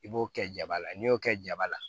I b'o kɛ jaba la n'i y'o kɛ jaba la